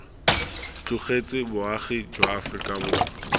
tlogetse boagi jwa aforika borwa